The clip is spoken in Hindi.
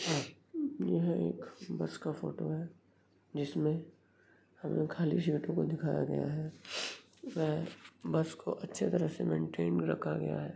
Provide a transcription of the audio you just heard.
क्या चित्रा में आपके सामने बस में सफर का दृश्य दाख गया है जिसमें नील रंग की सीटों दिखाई गई हैं जो बहुत खूबसूरत लग रही है बस बहुत साफा-सुरी नजर आ रही है जो बहुत सुंदर लग रही है।